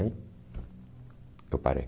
Eu parei.